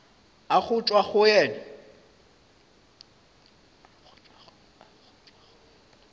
a go tšwa go yena